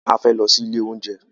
A fẹ́ lọ sí ilé oúnjẹ.